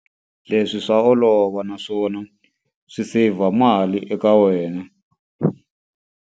Leswi swa olova naswona swi seyivha mali eka wena.